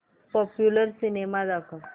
popular cinema दाखव